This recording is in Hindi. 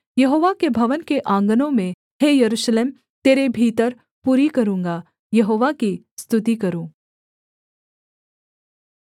यहोवा के भवन के आँगनों में हे यरूशलेम तेरे भीतर पूरी करूँगा यहोवा की स्तुति करो